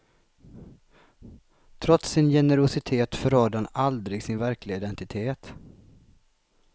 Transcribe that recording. Trots sin generositet förrådde han aldrig sin verkliga identitet.